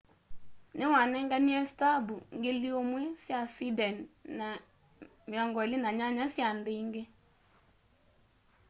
niwanenganie stambu 1,000 sya sweden na 28 sya nthi ingi